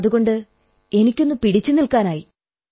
അതുകൊണ്ട് എനിക്കൊന്നു പിടിച്ചു നിൽക്കാനായി